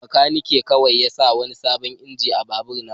Bakanikin kawai ya sa wani sabon injin a babur na.